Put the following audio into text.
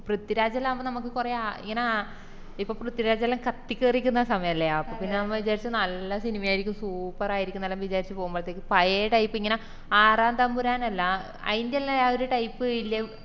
പൃഥ്വിരാജല്ലവുമ്പോ നമുക്ക് കൊറേ ആ ഇങ്ങനെ ഇപ്പൊ പൃഥ്വിരാജെല്ലൊം കത്തിക്കേറി നിക്കുന്ന സമയല്ലേ അപ്പൊ പിന്നാ നമ്മ വിചാരിച് നല്ല സിനിമയാരിക്കും super ആരിക്കുന്നെല്ലാം വിചാരിച് പോവുമ്പളത്തേക്ക് പയേ type ഇങ്ങന ആറാംതമ്പുരാനെല്ല അയിന്റെല്ലാംആ ഒര് type ഇല്ലെ